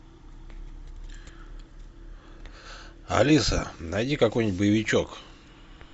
алиса найди какой нибудь боевичок